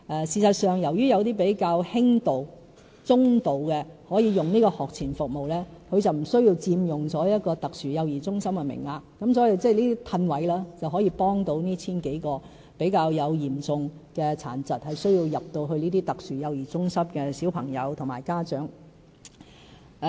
事實上，由於有些比較輕度和中度的幼童可以使用這學前服務，便無須佔用特殊幼兒中心的名額，所以，這樣騰出名額便能夠幫助這 1,000 多名比較嚴重殘疾，需要入讀特殊幼兒中心的小朋友和家長。